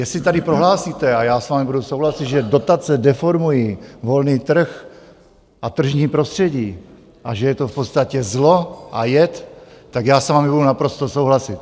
Jestli tady prohlásíte - a já s vámi budu souhlasit - že dotace deformuji volný trh a tržní prostředí a že je to v podstatě zlo a jed, tak já s vámi budu naprosto souhlasit.